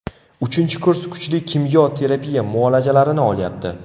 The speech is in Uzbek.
Uchinchi kurs kuchli kimyo terapiya muolajalarini olyapti.